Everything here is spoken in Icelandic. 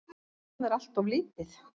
Það er alltof lítið.